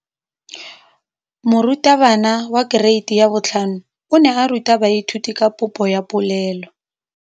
Moratabana wa kereiti ya 5 o ne a ruta baithuti ka popô ya polelô.